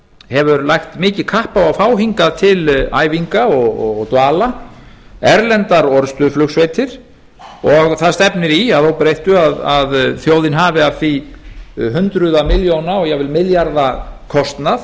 hefur lagt mikið kapp á að fá hingað til æfinga og dvalar erlendar orrustuflugsveitir og það stefnir í að óbreyttu að þjóðin hafi af því hundruð milljóna og jafnvel milljarða kostnað